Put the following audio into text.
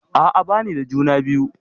A'a bani da juna biyu.